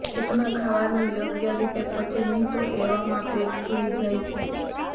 પેટમાં ખાવાનું યોગ્ય રીતે પચે નહીં તો એવામાં પેટ ફુલી જાય છે